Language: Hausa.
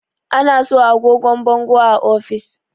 ana sa agogon bangon a ofis